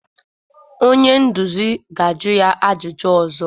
Onye nduzi ga-ajụ ya ajụjụ ọzọ.